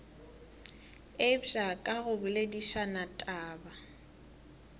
eupša ka go boledišana taba